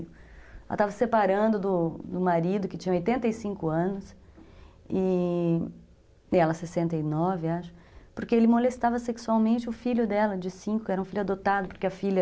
Ela estava se separando do marido, que tinha oitenta e cinco anos, e ela sessenta e nove, acho, porque ele molestava sexualmente o filho dela, de cinco, que era um filho adotado, porque a filha...